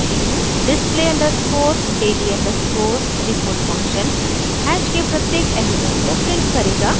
display underscore daily underscore report function hash के प्रत्येक element को प्रिंट करेगा